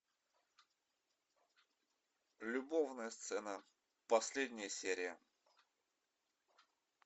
любовная сцена последняя серия